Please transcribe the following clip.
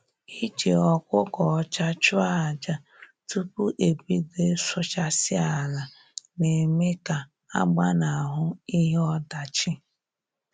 Iji ọkụkọ ọcha chụọ aja tupu e bido ịsụchasị ala na-eme ka a gbanahụ ihe ọdachi